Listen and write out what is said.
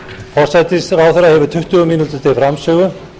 forsætisráðherra hefur tuttugu mínútur til framsögu